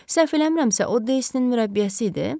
Səhv eləmirəmsə o Deyninin mürəbbiyəsi idi?